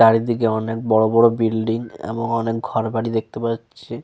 চারিদিকে অনেক বড় বড় বিল্ডিং এবং অনেক ঘর বাড়ি দেখতে পাওয়া যাচ্ছে।